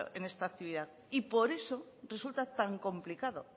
en esta actividad y por eso resulta tan complicado